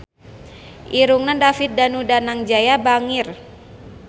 Irungna David Danu Danangjaya bangir